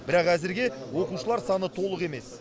бірақ әзірге оқушылар саны толық емес